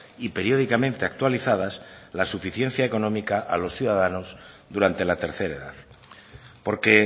y periódicamente actualizadas la suficiencia económica a los ciudadanos durante la tercera edad porque